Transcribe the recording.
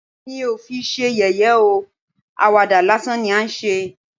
Mi ò fi ṣe yẹ̀yẹ́ ó, àwàdà lásán ni à ń ṣe